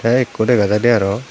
tey ekko dega jaidey arow.